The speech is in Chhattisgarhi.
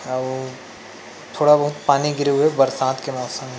अउ थोड़ा बहुत पानी गिरे हुए बरसात के मौसम--